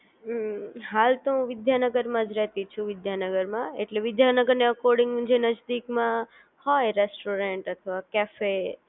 હમ્મ હાલ તો હું વિદ્યાનગરમાં જ રહેતી છું વિદ્યાનગરમાં એટલે વિદ્યાનગરને એકોર્ડિંગ જે નજીકમાં હોય રેસ્ટોરન્ટ અથવા કેફે